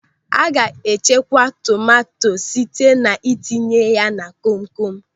A ga-echekwa tomanto site na itinye ya na kom kom.